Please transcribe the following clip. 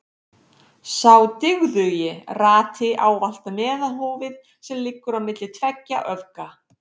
Sá dygðugi rati ávallt meðalhófið sem liggur á milli tveggja öfga.